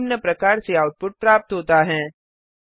हमें निम्न प्रकार से आउटपुट प्राप्त होता हैं